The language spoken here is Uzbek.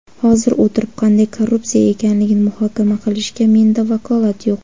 Hozir o‘tirib qanday korrupsiya ekanligini muhokama qilishga menda vakolat yo‘q.